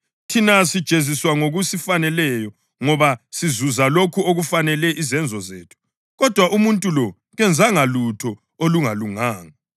Thina sijeziswa ngokusifaneleyo ngoba sizuza lokho okufanele izenzo zethu. Kodwa umuntu lo kenzanga lutho olungalunganga.”